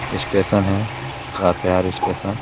Station है। लातेहारी station --